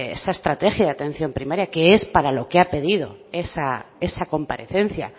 esa estriega de atención primaria que es para lo que ha pedido esa comparecencia